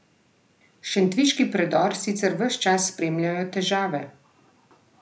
Šentviški predor sicer ves čas spremljajo težave.